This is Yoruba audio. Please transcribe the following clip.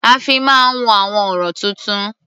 A fi máa ń wo àwọn ọ̀rọ̀-tuntun.